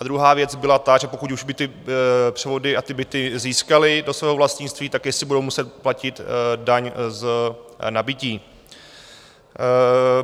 A druhá věc byla ta, že pokud už by ty převody a ty byty získali do svého vlastnictví, tak jestli budou muset platit daň z nabytí.